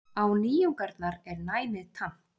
Á nýjungarnar er næmið tamt.